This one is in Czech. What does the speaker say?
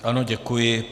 Ano, děkuji.